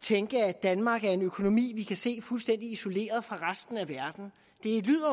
tænke at danmark er en økonomi vi kan se fuldstændig isoleret fra resten af verden det lyder